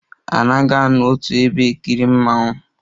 A naghi anọ otu ebe ekiri mmonwu